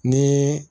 Ni